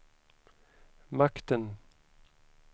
makten